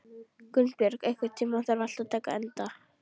Gunnbjörg, einhvern tímann þarf allt að taka enda.